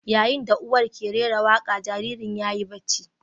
Yayin da uwar ke rera waƙa, jariri yayi bacci.